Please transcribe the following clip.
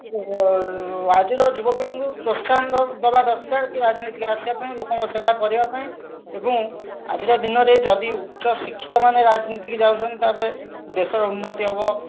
ଆଁ ଆଜିର ଯୁବପିଢୀଙ୍କୁ ପ୍ରୋସାହନ ଦବା ଦବା ଦରକାର କି ରାଜନୀତି କୁ ଆସିବା ପାଇଁ ଲୋକଙ୍କ ସେବା କରିବା ପାଇଁ ଏବଂ ଆଜିର ଦିନରେ ଯଦି ଉଚ୍ଚ ଶିକ୍ଷିତ ମାନେ ରାଜନୀତି କୁ ଯାଉଛନ୍ତି ତାହେଲେ ଦେଶର ଉନ୍ନତି ହବ